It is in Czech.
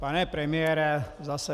Pane premiére, zase.